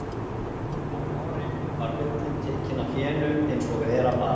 Á vorin var ullin tekin af fénu eins og vera bar.